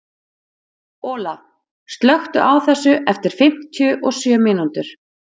Olaf, slökktu á þessu eftir fimmtíu og sjö mínútur.